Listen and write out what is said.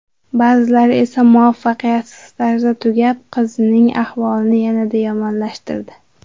Ba’zilari esa muvaffaqiyatsiz tarzda tugab, qizning ahvolini yanada yomonlashtirdi.